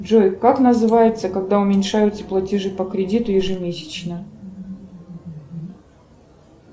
джой как называется когда уменьшаются платежи по кредиту ежемесячно